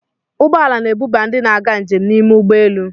Ụgbọ ala na-ebuba ndị na-aga njem n'ime ụgbọ elu.